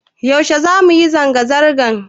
Yaushe za mu yi zanga-zanga?